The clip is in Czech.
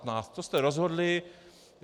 To jste rozhodli.